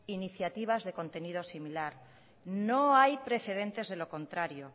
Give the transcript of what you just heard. iniciativas de contenido similar no hay precedentes delo contrario